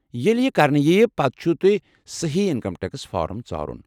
ییلہِ یہِ كرنہٕ یی ، پتہٕ چُھو تۄہہِ سہی انكم ٹیكس فارم ژارُن ۔